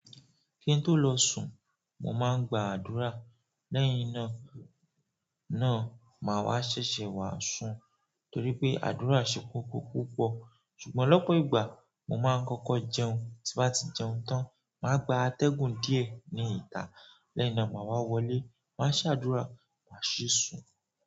Ki n tó lọ sùn, mo máa ń gba àdúrà. Lẹ́yìn náà, náà máa wá ṣẹ̀ṣẹ̀ wá sùn torí pé àdúrà ṣe kókó púpọ̀. Ṣùgbọ́n lọ́pọ̀ ìgbà mo máa ń kọ́kọ́ jẹun, tí bá ti jẹun tán, màá gba atẹ́gùn díẹ̀ ní ìta. Lẹ́yìn náà màá wá wọlé, máa se àdúrà, màá sì sùn.